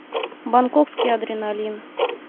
бангкокский адреналин